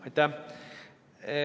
Aitäh!